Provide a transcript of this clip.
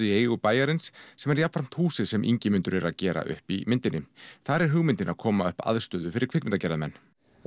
í eigu bæjarins sem er jafnframt húsið sem Ingimundur er að gera upp í myndinni þar er hugmyndin að koma upp aðstöðu fyrir kvikmyndagerðarmenn